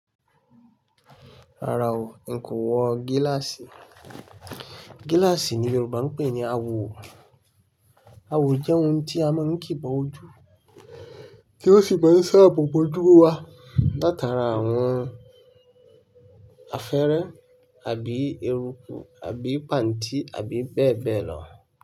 Rárá o, n kò wọ gíláàsì. Gíláàsì ni Yoruba ń pè ní àwọ̀. Àwọ̀ jẹ́ ohun tí a máa ń kìí bá ojú, tí ó sì máa ń ṣàbòbò ojú wa látara àwọn afẹ́rẹ àbí eruku àbí pàǹtí àbí bẹ́ẹ̀ bẹ́ẹ̀ lọ.